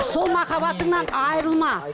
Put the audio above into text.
сол махаббатыңнан айырылма